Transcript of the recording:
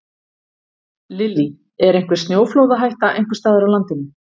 Lillý: Er einhver snjóflóðahætta einhvers staðar á landinu?